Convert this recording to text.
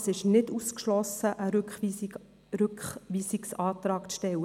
Es ist nicht ausgeschlossen, einen Rückweisungsantrag zu stellen.